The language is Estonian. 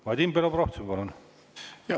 Vadim Belobrovtsev, palun!